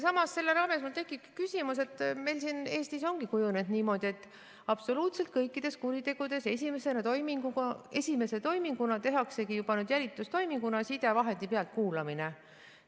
Samas, selle raames mul tekib küsimus, et meil siin Eestis ongi kujunenud niimoodi, et absoluutselt kõikides kuritegudes esimese toiminguna tehaksegi jälitustoiminguna sidevahendi pealtkuulamine.